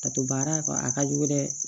Ka to baara kɔ a ka jugu dɛ